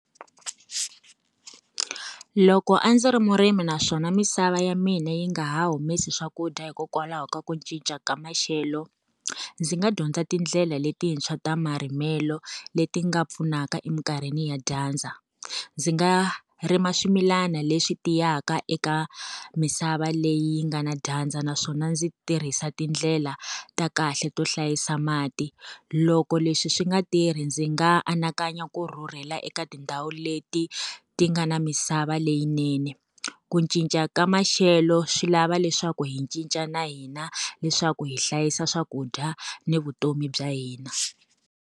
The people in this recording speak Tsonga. Loko a ndzi ri murimi naswona misava ya mina yi nga ha humesi swakudya hikokwalaho ka ku cinca ka maxelo, ndzi nga dyondza tindlela letintshwa ta marimelo, leti nga pfunaka eminkarhini ya dyandza. Ndzi nga rima swimilana leswi tiyisaka eka misava leyi yi nga na dyandza naswona ndzi tirhisa tindlela ta kahle to hlayisa mati. Loko leswi swi nga tirhi ndzi nga anakanya ku rhurhela eka tindhawu leti ti nga na misava leyinene. Ku cinca ka maxelo swi lava leswaku hi cinca na hina, leswaku hi hlayisa swakudya ni vutomi bya hina.